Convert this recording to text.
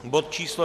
Bod číslo